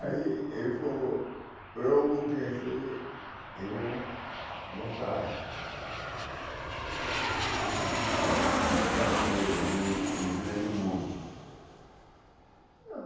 Aí ele falou, eu vou crescer e vou voltar para vi ver viver no mundo.